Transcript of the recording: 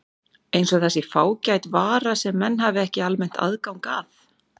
Eins og það sé fágæt vara sem menn hafi ekki almennt aðgang að.